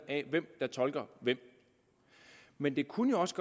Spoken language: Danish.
af hvem der tolker hvem men det kunne jo også